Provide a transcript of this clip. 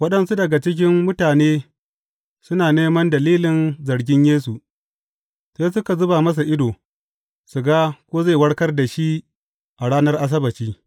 Waɗansu daga cikin mutane suna neman dalilin zargin Yesu, sai suka zuba masa ido, su ga ko zai warkar da shi a ranar Asabbaci.